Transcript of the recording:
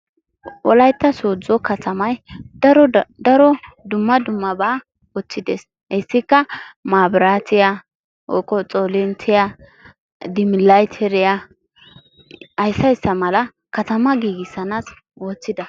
wolaytta soodo katammay daro da daro dumma dummabaa ootiidi de'ees. etikka manraatiya oge xoolinttiya, dimilaytteriya aysiayssimala katama giigisana oottida.